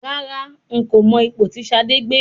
Rárá, n kò mọ ipò tí Ṣadé gbé.